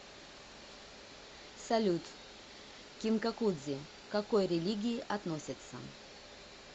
салют кинкакудзи к какой религии относится